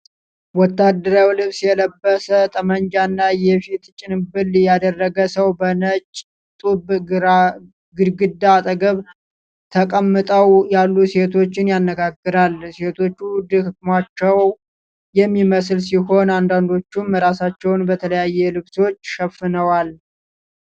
ወታደራዊ ልብስ የለበሰ፣ ጠመንጃና የፊት ጭንብል ያደረገ ሰው በነጭ ጡብ ግድግዳ አጠገብ ተቀምጠው ያሉ ሴቶችን ያነጋግራል። ሴቶቹ ደክሟቸው የሚመስል ሲሆን አንዳንዶቹም ራሳቸውን በተለያዩ ልብሶች ሸፍነዋል።